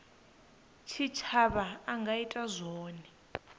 tshitshavha a nga ita zwone